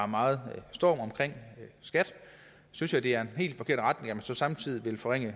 meget storm omkring skat synes jeg det er en helt forkert retning så samtidig vil forringe